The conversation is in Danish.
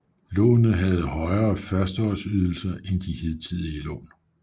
Lånet havde højere førsteårsydelser end de hidtidige lån